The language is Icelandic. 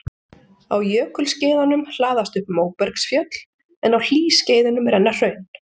Á jökulskeiðunum hlaðast upp móbergsfjöll en á hlýskeiðunum renna hraun.